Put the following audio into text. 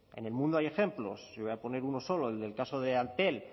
en el mundo hay ejemplos yo voy a poner uno solo el del caso de antel